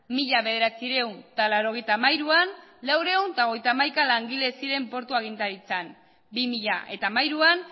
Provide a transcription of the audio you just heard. mila bederatziehun eta laurogeita hamairuan laurehun eta hogeita hamaika langile ziren portu agintaritzan bi mila hamairuan